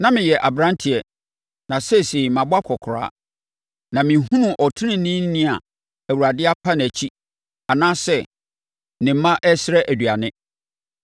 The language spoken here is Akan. Na meyɛ aberanteɛ, na seesei mabɔ akɔkoraa, na menhunuu ɔteneneeni a Awurade apa nʼakyi anaasɛ ne mma resrɛ aduane.